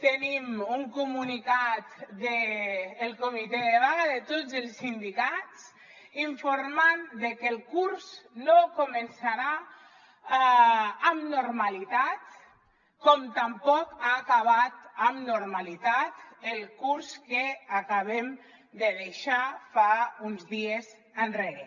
tenim un comunicat del comitè de vaga de tots els sindicats informant de que el curs no començarà amb normalitat com tampoc ha acabat amb normalitat el curs que acabem de deixar fa uns dies enrere